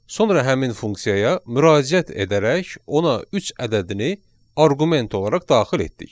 Sonra həmin funksiyaya müraciət edərək ona üç ədədini arqument olaraq daxil etdik.